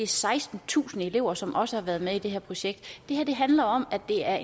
sekstentusind elever som også har været med i det her projekt det her handler om at det er